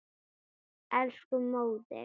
Elsku móðir.